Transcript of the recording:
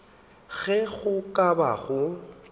ge go ka ba go